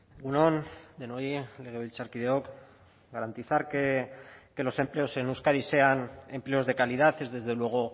egun on denoi legebiltzarkideok garantizar que los empleos en euskadi sean empleos de calidad es desde luego